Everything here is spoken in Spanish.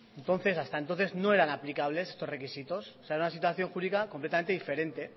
entonces hasta entonces no eran aplicables estos requisitos o sea era una situación jurídica completamente diferente